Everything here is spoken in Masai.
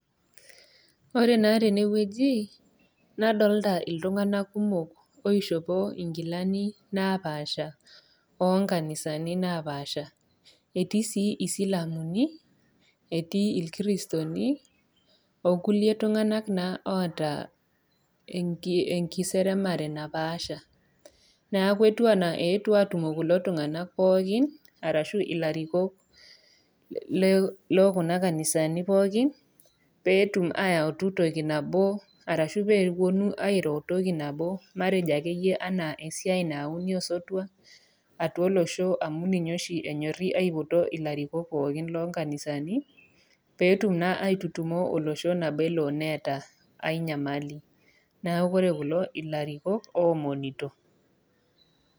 Ore naa tene wueji nadolita iltung'ana kumok oishopo inkilani napaasha oo nkanisani napaasha. Etii sii isilamuni, etii ilkiristoni, o kulie tung'ana naa oata enkiseremare napaasha, neaku etiu anaa eetuo aatumo kulo tung'ana pookin arashu olarikok loo Kuna kanidani pookin, peetum ayautu toki nabo arashu pee epuonu airo entoki nabo matejo ake iyie anaa esiai naayauni osotua atua olosho amu ninye oshi enyori aipoto ilarikok pooki loo inkanisani, peetum naa airurumo olosho peewuo naa eata ainyamali. Neaku ore kulo naa ilarikok oomonito.